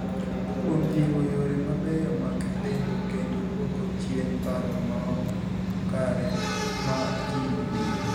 � kuom jiwo yore mabeyo mag lendo kendo duoko chien paro maok kare ma ji nigo.